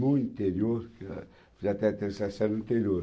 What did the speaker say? no interior, fiz até a terceira série no interior.